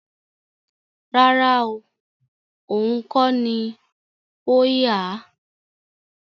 Rárá oo, ohùn kọ́ ni ó yà á